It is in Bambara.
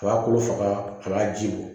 A b'a kolo faga a b'a ji bɔ